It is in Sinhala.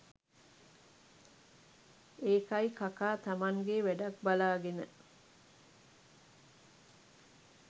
ඒකයි කකා තමන්ගේ වැඩක් බලාගෙන